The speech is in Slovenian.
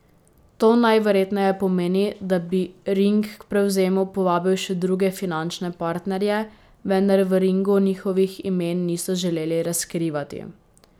To najverjetneje pomeni, da bi Ring k prevzemu povabil še druge finančne partnerje, vendar v Ringu njihovih imen niso želeli razkrivati.